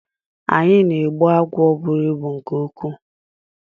Anyi na-egbu agwọ bụrụ ịbụ nke nkwuu.